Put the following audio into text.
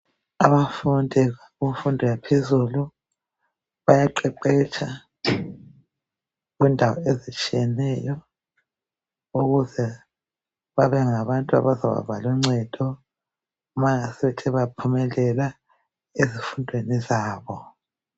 Abafundi bemfundo yaphezulu bayaqeqetsha kwendawo ezitshiyeneyo ukuze babengabantu abazaba loncedo nxa bengaphumelela ezifundweni zabo